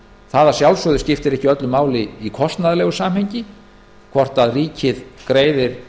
það skiptir að sjálfsögðu ekki öllu máli í kostnaðarlegu samhengi hvort ríkið greiðir